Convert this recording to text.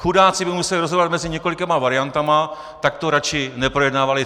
Chudáci by museli rozhodovat mezi několika variantami, tak to radši neprojednávali.